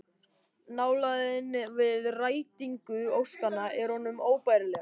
Nálægðin við rætingu óskanna er honum óbærileg